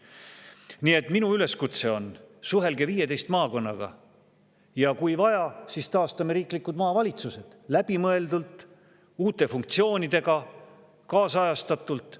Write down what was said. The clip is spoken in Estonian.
Nii et minu üleskutse: suhelge 15 maakonnaga ja kui vaja, siis taastame riiklikud maavalitsused – läbimõeldult, uute funktsioonidega, kaasajastatult.